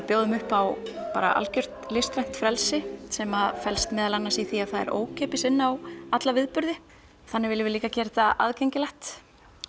bjóðum upp á algjört listrænt frelsi sem felst meðal annars í því að það er ókeypis inn á alla viðburði þannig viljum við líka gera þetta aðgengilegt